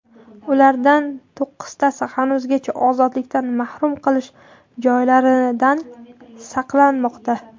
Ulardan to‘qqiztasi hanuzgacha ozodlikdan mahrum qilish joylaridan saqlanmoqda.